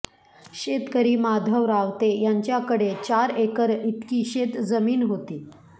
शेतकरी माधव रावते यांच्याकडे चार एकर इतकी शेतजमीन होती